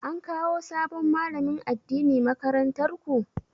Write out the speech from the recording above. An kawo sabon malamin addini makarantar ku?